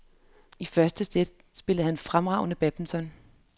I første sæt spillede han fremragende badminton.